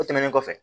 O tɛmɛnen kɔfɛ